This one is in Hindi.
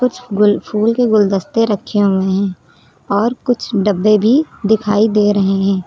कुछ गुल फूल के गुलदस्ते रखे हुए हैं और कुछ डब्बे भी दिखाई दे रहे हैं।